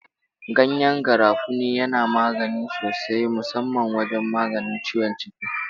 Ganyen garafuni yana amfani sosai musamman wajen maganin ciwon ciki.